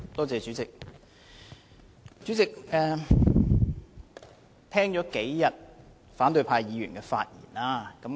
主席，我聽了反對派議員發言好幾天。